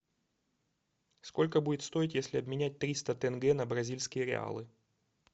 сколько будет стоить если обменять триста тенге на бразильские реалы